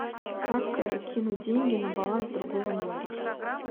как кинуть деньги на баланс другого номера